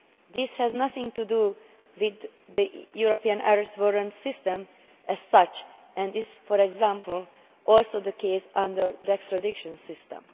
State. This has nothing to do with the European Arrest Warrant system as such and is, for example, also the case under the extradition system.